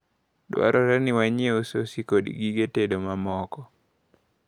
Dwarore ni wanyieu sosi kod gige tedo mamoko.